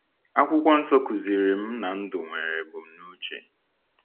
Akwụkwọ Nsọ kụziiri m na ndụ nwere ebumnuche.